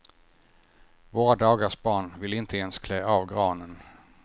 Våra dagars barn vill inte ens klä av granen.